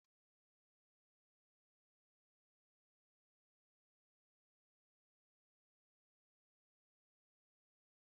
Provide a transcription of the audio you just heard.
N'ọnwa Ọgọst, ndị Afikpo bi n'ime ime obodo na-abịa na-abụ abụ na ịgba egwu iji mee emume omenala ha.